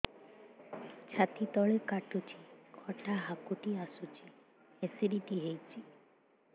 ଛାତି ତଳେ କାଟୁଚି ଖଟା ହାକୁଟି ଆସୁଚି ଏସିଡିଟି ହେଇଚି